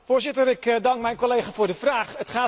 Voorzitter, ik dank mijn collega voor de vraag.